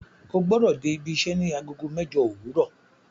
O gbọ́dọ̀ dé ibiṣẹ́ ní Agogo mẹ́jọ òwúrọ̀